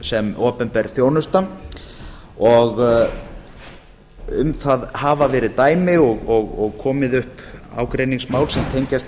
sem opinber þjónusta og um það hafa verið dæmi og komið upp ágreiningsmál sem tengjast